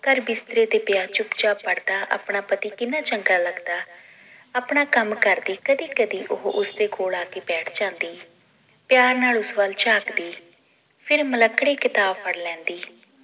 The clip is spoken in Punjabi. ਘਰ ਬਿਸਤਰੇ ਤੇ ਪਿਆ ਚੁੱਪ ਚਾਪ ਪੜ੍ਹਦਾ ਆਪਣਾ ਪਤੀ ਕਿੰਨਾ ਚੰਗਾ ਲਗਦਾ ਆਪਣਾ ਕੰਮ ਕਰਕੇ ਕਦੇ ਕਦੇ ਉਹ ਉਸਦੇ ਕੋਲ ਆਕੇ ਬੈਠ ਜਾਂਦੀ ਪਿਆਰ ਨਾਲ ਉਸ ਵੱਲ ਝਾਕਦੀ ਫਿਰ ਮਿਲੱਕੜੀ ਕਿਤਾਬ ਫੜ ਲੈਂਦੀ